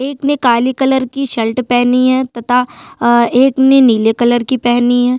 एक ने काले कलर की शर्ट पहनी है तथा अ एक ने नीले कलर की पहनी है।